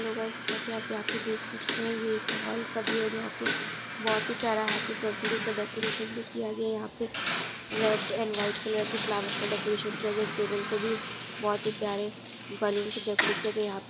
Hello guys जैसा की आप यहां पर देख सकते हैं ये एक हॉल का व्यू है और यहाँ पे बहोत ही प्यारा हैप्पी बर्थडे का डेकोरेशन भी किया गया है यहाँ पे रेड एंड व्हाइट कलर के फ्लावर का डेकोरेशन किया गया है। टेबल को भी बहोत ही प्यारे बलून से डेकोरेट किया गया है यहाँ।